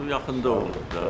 Bu yaxında oldu da.